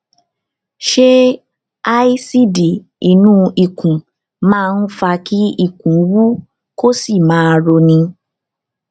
ṣé aásíìdì inú ikùn máa ń fa kí ikùn wú kí ó sì máa roni